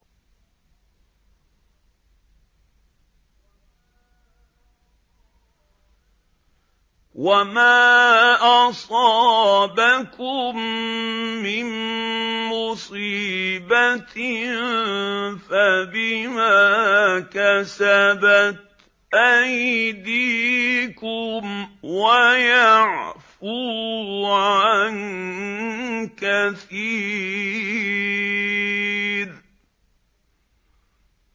وَمَا أَصَابَكُم مِّن مُّصِيبَةٍ فَبِمَا كَسَبَتْ أَيْدِيكُمْ وَيَعْفُو عَن كَثِيرٍ